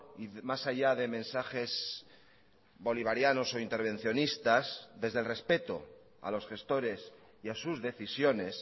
y más allá de mensajes bolivarianos o intervencionistas desde el respeto a los gestores y a sus decisiones